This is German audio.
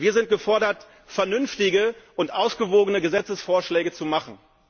Wir sind gefordert, vernünftige und ausgewogene Gesetzesvorschläge zu machen.